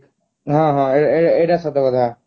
ହଁ ହଁ ଏଇ ଏଇ ଏଇଟା ସତ କଥା